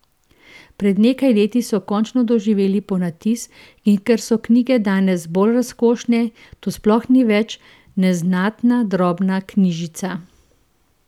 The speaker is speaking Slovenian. Pred nekaj leti so končno doživele ponatis in ker so knjige danes bolj razkošne, to sploh ni več neznatna drobna knjižica.